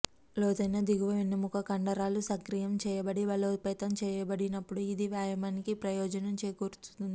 లోతైన దిగువ వెన్నెముక కండరాలు సక్రియం చేయబడి బలోపేతం చేయబడినప్పుడు ఇది వ్యాయామానికి ప్రయోజనం చేకూరుస్తుంది